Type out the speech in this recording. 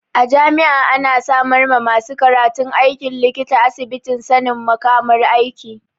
A jami'a ana samar ma masu karantan aikin likita asibitin sanin makamar aiki.